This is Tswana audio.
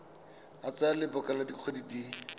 tsaya lebaka la dikgwedi di